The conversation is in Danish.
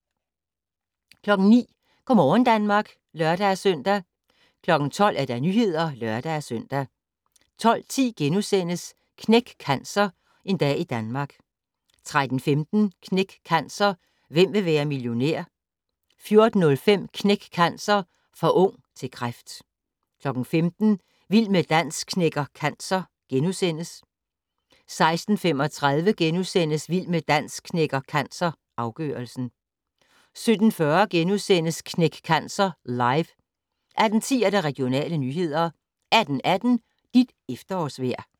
09:00: Go' morgen Danmark (lør-søn) 12:00: Nyhederne (lør-søn) 12:10: Knæk Cancer: En dag i Danmark * 13:15: Knæk Cancer: Hvem vil være millionær? 14:05: Knæk Cancer: For ung til kræft 15:00: Vild med dans knækker cancer * 16:35: Vild med dans knækker cancer - afgørelsen * 17:40: Knæk Cancer Live * 18:10: Regionale nyheder 18:18: Dit efterårsvejr